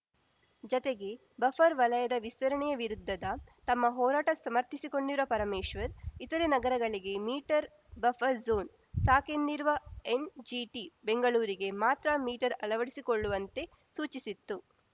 ಜತೆಗೆ ಬಫರ್‌ ವಲಯದ ವಿಸ್ತರಣೆ ವಿರುದ್ಧದ ತಮ್ಮ ಹೋರಾಟ ಸಮರ್ಥಿಸಿಕೊಂಡಿರುವ ಪರಮೇಶ್ವರ್‌ ಇತರೆ ನಗರಗಳಿಗೆ ಮೀಟರ್‌ ಬಫರ್‌ ಜೋನ್‌ ಸಾಕೆಂದಿರುವ ಎನ್‌ಜಿಟಿ ಬೆಂಗಳೂರಿಗೆ ಮಾತ್ರ ಮೀಟರ್‌ ಅಳವಡಿಸಿಕೊಳ್ಳುವಂತೆ ಸೂಚಿಸಿತ್ತು